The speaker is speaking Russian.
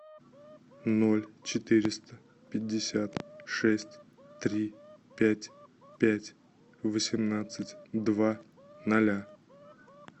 ноль четыреста пятьдесят шесть три пять пять восемнадцать два ноля